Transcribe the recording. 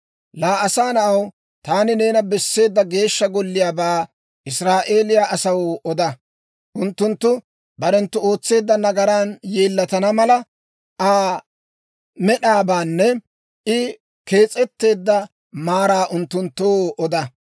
«Laa asaa na'aw, taani neena besseedda Geeshsha Golliyaabaa Israa'eeliyaa asaw oda; unttunttu barenttu ootseedda nagaran yeellatana mala, Aa med'aabaanne I kees'etteedda maaraa unttunttoo oda.